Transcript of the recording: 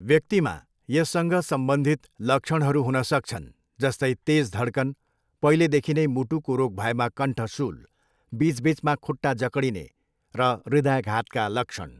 व्यक्तिमा यससँग सम्बन्धित लक्षणहरू हुन सक्छन्, जस्तै तेज धड्कन, पहिलेदेखि नै मुटुको रोग भएमा कण्ठ शूल, बिच बिचमा खुट्टा जक्डिने र हृदयाघातका लक्षण।